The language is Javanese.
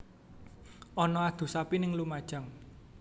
Ono adu sapi ning Lumajang